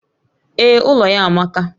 Ee, ụlọ ya amaka